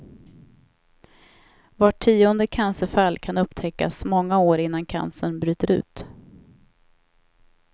Vart tionde cancerfall kan upptäckas många år innan cancern bryter ut.